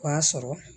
O y'a sɔrɔ